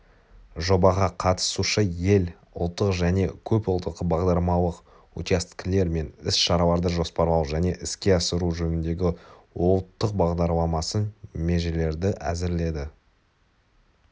жобаға қатысушы ел ұлттық және көпұлттық бағдарламалық учакселер мен іс-шараларды жоспарлау және іске асыру жөніндегі ұлттық бағдарламасын межелерді әзірледі